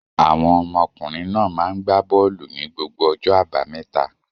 Àwọn ọmọkùnrin náà máa ń gbá bọ́ọ́lù ní gbogbo ọjọ́ àbámẹ́ta.